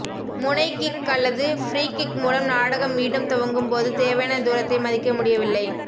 முனை கிக் அல்லது free kick மூலம் நாடகம் மீண்டும் துவங்கும்போது தேவையான தூரத்தை மதிக்க முடியவில்லை